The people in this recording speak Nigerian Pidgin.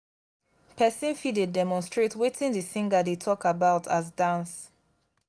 persin fit de demonstrate wetin di singer de talk about as dance